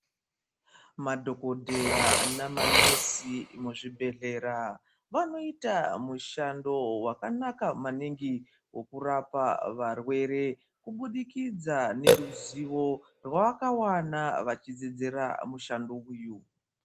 Madhokodheya namanesi muzvibhedhlera vanoita mushando wakanaka maningi wekurapa varwere kubudikidza neruzivo rwavakawana vachidzidzira mushando uyu.